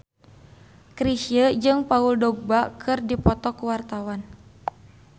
Chrisye jeung Paul Dogba keur dipoto ku wartawan